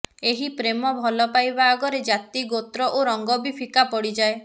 ଏହି ପ୍ରେମ ଭଲ ପାଇବା ଆଗରେ ଜାତି ଗୋତ୍ର ଓ ରଙ୍ଗ ବି ଫିକା ପଡ଼ିଯାଏ